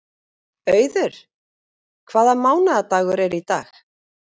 Auður, hvaða mánaðardagur er í dag?